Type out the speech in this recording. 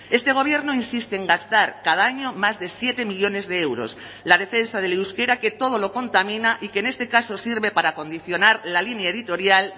este gobierno insiste en gastar cada año más de siete millónes de euros la defensa del euskera que todo lo contamina y que en este caso sirve para condicionar la línea editorial